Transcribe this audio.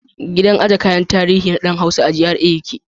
Gidan aje kayan tarihi na ɗan Hausa a cikin GRA yake.